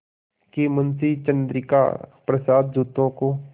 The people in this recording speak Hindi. कि मुंशी चंद्रिका प्रसाद जूतों को